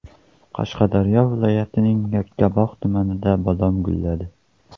Qashqadaryo viloyatining Yakkabog‘ tumanida bodom gulladi.